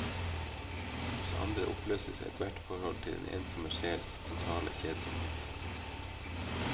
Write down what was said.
Hos andre oppløses ethvert forhold til den ensomme sjels totale kjedsomhet.